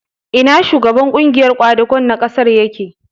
Ina shugaban ƙungiyar ƙwadago na ƙasar yake?